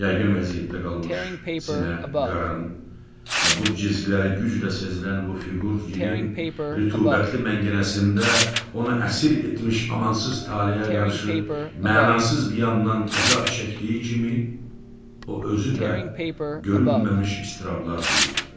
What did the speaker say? Yəqin vəziyyətdə qalmış sinə, qarın və bud cizgiləri güclə sezilən bu fiqur gilinn rütubətli məngənəsində onu əsir etmiş amansız taleyə qarşı mənasız qiyamdan əzab çəkdiyi kimi, o özü də görünməmiş iztirablar duyurdu.